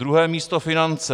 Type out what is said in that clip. Druhé místo - finance.